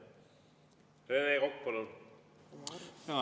Rene Kokk, palun!